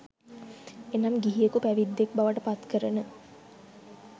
එනම් ගිහියකු පැවිද්දෙක් බවට පත්කරන